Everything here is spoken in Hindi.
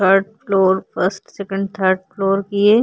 third floor first second third floor की ये --